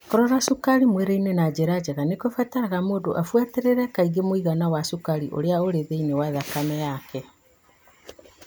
Kũrora cukari mwĩrĩinĩ na njĩra njega nĩ kũbataraga mũndũ abuatĩrĩrie kaingĩ mũigana wa cukari ũrĩa ũrĩ thĩinĩ wa thakame yake.